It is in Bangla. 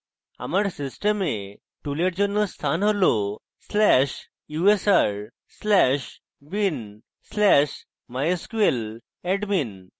আমার system tool এর জন্য স্থান tool/usr/bin/mysqladmin